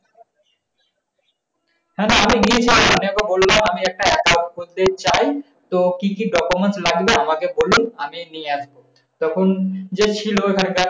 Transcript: না না আমি গিয়েছিলাম ওনাকে বললাম আমি একটা account করতে চাই। তো কি কি documents লাগবে আমাকে বলুন আমি নিয়ে আসবো। যে ছিল ওখানকার,